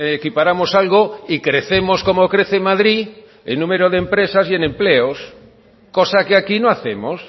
equiparamos algo y crecemos como crece madrid en número de empresas y en empleos cosa que aquí no hacemos